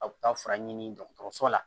Aw bɛ taa fura ɲini dɔgɔtɔrɔso la